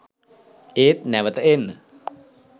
ඒත් නැවත එන්න